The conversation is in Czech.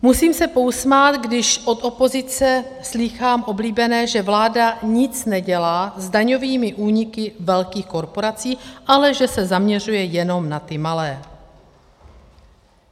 Musím se pousmát, když od opozice slýchám oblíbené, že vláda nic nedělá s daňovými úniky velkých korporací, ale že se zaměřuje jenom na ty malé.